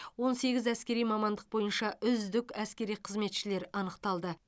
он сегіз әскери мамандық бойынша үздік әскери қызметшілер анықталды